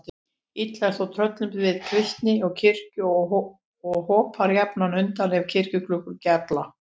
Illa er þó tröllum við kristni og kirkjur og hopa jafnan undan ef kirkjuklukkur gjalla.